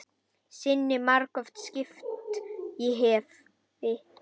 Sinni margoft skipt ég hefi.